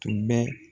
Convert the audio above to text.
Tun bɛ